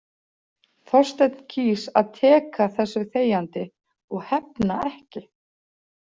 Þorsteinn kýs að teka þessu þegjandi og hefna ekki.